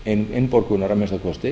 ætti innborgunar að minnsta kosti